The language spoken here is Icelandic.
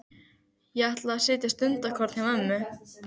Ég ætla að sitja stundarkorn hjá mömmu.